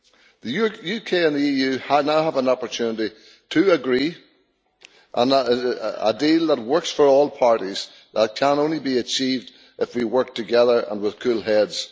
The UK and the EU now have an opportunity to agree on a deal that works for all parties that can only be achieved if we work together and with cool heads.